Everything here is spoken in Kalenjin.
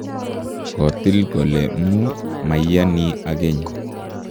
kotil kole mu maiyani akeny